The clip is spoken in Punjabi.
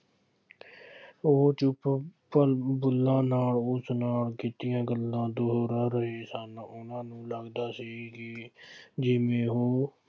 ਉਹ ਚੁੱਪ ਨਾਲ ਉਸ ਨਾਲ ਕੀਤੀਆਂ ਗੱਲਾਂ ਦੋਹਰਾ ਗਏ ਸਨ। ਉਨ੍ਹਾ ਨੂੰ ਲੱਗਦਾ ਸੀ ਬਈ ਜਿਵੇਂ ਉਹ